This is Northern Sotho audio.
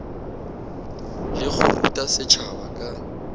le go ruta setšhaba ka